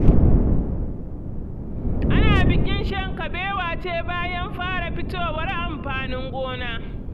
Ana bikin shan kabewa ce bayan fara fitowar amfanin gona.